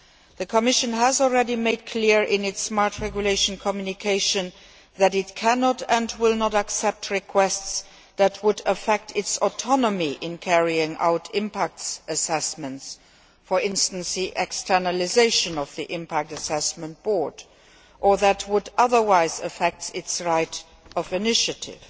The Commission has already made clear in its Smart Regulation Communication that it cannot and will not accept requests that would affect its autonomy in carrying out impact assessments for instance, the externalisation of the Impact Assessment Board or that would otherwise affect its right of initiative.